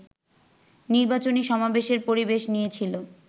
নির্বাচনী সমাবেশের পরিবেশ নিয়েছিল